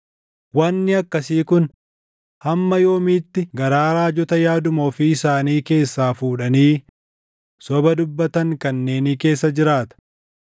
Wanni akkasii kun hamma yoomiitti garaa raajota yaaduma ofii isaanii keessaa fuudhanii soba dubbatan kanneenii keessa jiraata?